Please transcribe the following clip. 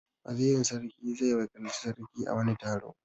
Wazirin sarki zai wakilci sarki a wani taro.